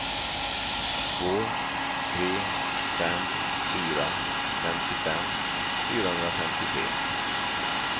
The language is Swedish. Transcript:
två tre fem fyra femtiofem fyrahundrafemtiotre